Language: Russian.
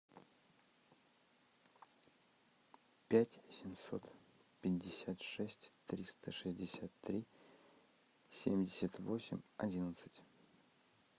пять семьсот пятьдесят шесть триста шестьдесят три семьдесят восемь одиннадцать